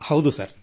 ಹೌದು ಸರ್